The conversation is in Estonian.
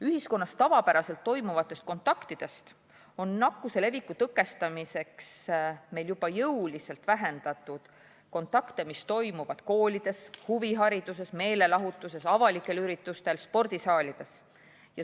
Ühiskonnas tavapäraselt toimuvatest kontaktidest on nakkuse leviku tõkestamiseks meil juba jõuliselt vähendatud kontakte, mis toimuvad koolides, huviringides, meelelahutusasutustes, avalikel üritustel ja spordisaalides.